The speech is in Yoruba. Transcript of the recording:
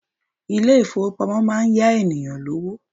Ilé ìfowópamọ́ máa ń yá ènìyàn lówó.